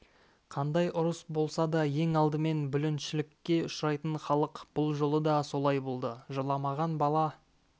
қандай ұрыс болса да ең алдымен бүліншілікке ұшырайтын халық бұл жолы да солай болды жыламаған бала